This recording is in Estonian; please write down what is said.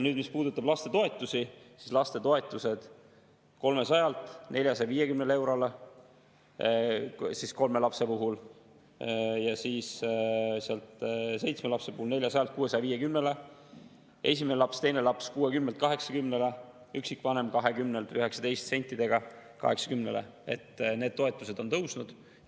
Nüüd, mis puudutab toetusi, siis 300 eurolt 450 eurole kolme lapse puhul, seitsme lapse puhul 400-lt 650-le, esimene laps ja teine laps 60-lt 80-le, üksikvanem 19 sentidega 80-le – need toetused on tõusnud.